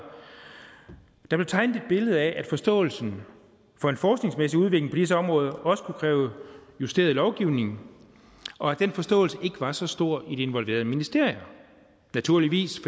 der blev tegnet et billede af at forståelsen for en forskningsmæssig udvikling på disse områder også kunne kræve justeret lovgivning og at den forståelse ikke var så stor i de involverede ministerier naturligvis